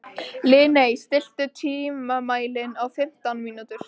Lilley, stilltu tímamælinn á fimmtán mínútur.